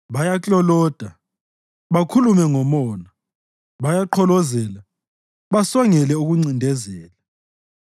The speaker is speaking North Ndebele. Bayakloloda, bakhulume ngomona; bayaqholoza basongele ukuncindezela.